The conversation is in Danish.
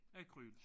Akryl